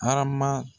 Arama